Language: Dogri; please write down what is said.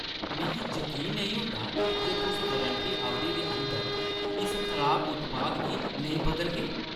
मिगी जकीन नेईं होंदा जे तुस वारंटी अवधि दे अंदर इस खराब उत्पाद गी नेईं बदलगे।